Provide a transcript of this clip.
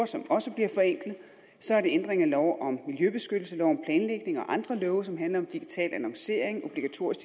som også bliver forenklet så er der ændring af lov om miljøbeskyttelse lov om planlægning og andre love som handler om digital annoncering obligatorisk